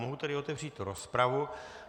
Mohu tedy otevřít rozpravu.